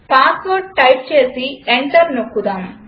password type చేసి enter నొక్కుదాం